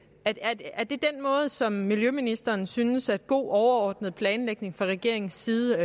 som miljøministeren synes er god overordnet planlægning fra regeringens side